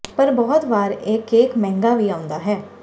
ਪਰ ਬਹੁਤ ਵਾਰ ਇਹ ਕੇਕ ਮਹਿੰਗਾ ਵੀ ਆਉਂਦਾ ਹੈ